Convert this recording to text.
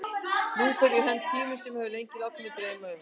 Nú fór í hönd tími sem ég hafði lengi látið mig dreyma um.